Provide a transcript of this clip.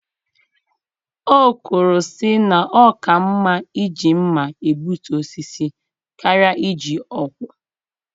O kwuru sị na ọ ka mma iji mmá egbutu osisi karịa iji ọkwọ